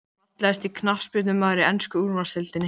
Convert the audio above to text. Fallegasti knattspyrnumaðurinn í ensku úrvalsdeildinni?